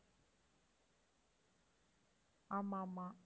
ஆமா, ஆமா